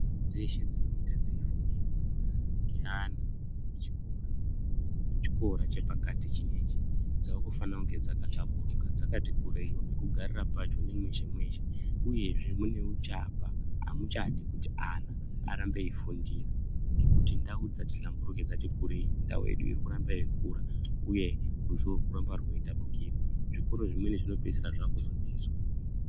Nzvimbo dzeshe dzinenge dzeifundirwa ngeana echikora, echikora chepakati chinechi, dzaakufane kunge dzakahlamburuka, dzakati kureiwo, pekugarira pacho, ne mweshe-mweshe, uyezve mune uchapa amuchadi kuti ana arambe eifundira ngekuti ndau dzati hlamburuke dzati kurei. Ndau yedu iri kuramba yeikura, uye zvirwere zviri kuramba zveitapukira, zvikora zvimweni zvinopeisira zvaakuzo tizwa.